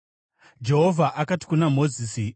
Jehovha akati kuna Mozisi: